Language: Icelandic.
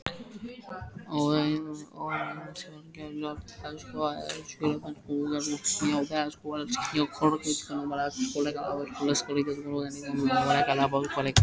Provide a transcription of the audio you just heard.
Vorkvöldið var óendanlega langt og það kólnaði stöðugt.